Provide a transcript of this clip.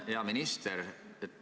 Hea minister!